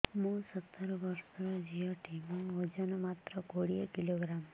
ମୁଁ ସତର ବର୍ଷ ଝିଅ ଟେ ମୋର ଓଜନ ମାତ୍ର କୋଡ଼ିଏ କିଲୋଗ୍ରାମ